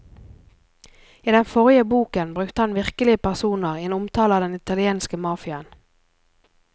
I den forrige boken brukte han virkelige personer i en omtale av den italienske mafiaen.